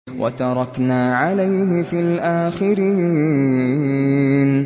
وَتَرَكْنَا عَلَيْهِ فِي الْآخِرِينَ